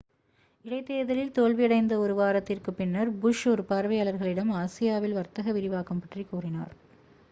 இடைதேர்தலில் தோல்வியடைந்த ஒரு வாரத்திற்குப் பின்னர் புஷ் ஒரு பார்வையாளர்களிடம் ஆசியாவில் வர்த்தக விரிவாக்கம் பற்றி கூறினார்